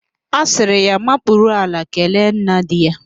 A sịrị ya makpuru ala kelee nna di ya